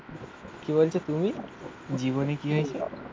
কি বলছো তুমি? জীবনে কি হয়েছে?